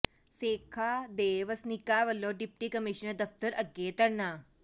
ਸੇਖਾ ਦੇ ਵਸਨੀਕਾਂ ਵੱਲੋਂ ਡਿਪਟੀ ਕਮਿਸ਼ਨਰ ਦਫਤਰ ਅੱਗੇ ਧਰਨਾ